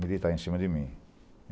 militar em cima de mim.